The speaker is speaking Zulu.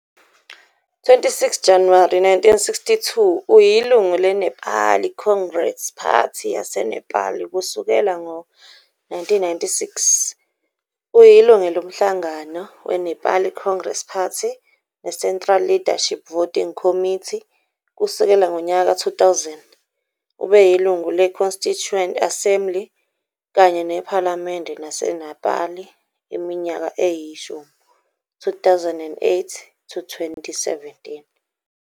26 Januwari 1962, uyilungu leNepali Congress Party yaseNepal kusukela ngo-1996. Uyilungu lomhlangano weNepali Congress Party neCentral Leadership Voting Committee kusukela ngonyaka ka-2000. Ubeyilungu le-Constituent Assembly kanye nePhalamende laseNepal iminyaka eyishumi, 2008-2017.